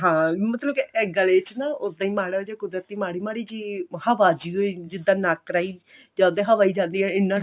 ਹਾਂ ਮਤਲਬ ਇਹ ਗਲੇ ਚ ਨਾ ਉੱਦਾਂ ਹੀ ਮਾੜਾ ਜਾ ਕੁਦਰਤੀ ਮਾੜੀ ਮਾੜੀ ਜੀ ਹਵਾ ਚ ਜਿੱਦਾਂ ਨੱਕ ਰਾਹੀ ਜਾਂਦੇ ਹਵਾ ਹੀ ਜਾਂਦੀ ਆ ਇੰਨਾ